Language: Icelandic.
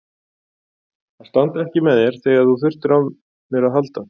Að standa ekki með þér þegar þú þurftir á mér að halda.